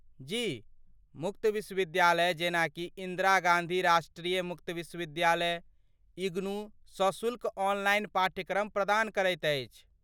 जी, मुक्त विश्वविद्यालय जेनाकि इन्दिरा गाँधी राष्ट्रीय मुक्त विश्वविद्यालय, इग्नू सशुल्क ऑनलाइन पाठ्यक्रम प्रदान करैत अछि।